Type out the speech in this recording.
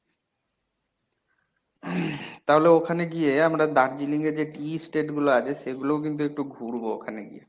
তাহলে ওখানে গিয়ে আমরা দার্জিলিং এ যে tea state গুলো আছে সেগুলোও কিন্তু একটু ঘুরবো ওখানে গিয়ে।